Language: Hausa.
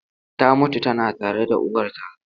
Ta mutu tana tare da uwarta.